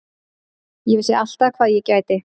Ég vissi alltaf hvað ég gæti.